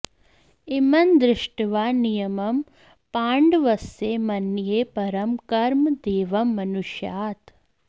इमं दृष्ट्वा नियमं पाण्डवस्य मन्ये परं कर्म दैवं मनुष्यात्